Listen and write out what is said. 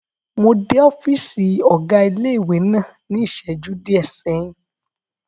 Mo dé ọ́fìsì ọ̀gá ilé-ìwé náà ní ìsẹ́jú díẹ̀ sẹ́yìn